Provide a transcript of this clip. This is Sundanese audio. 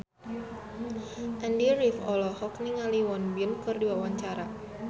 Andy rif olohok ningali Won Bin keur diwawancara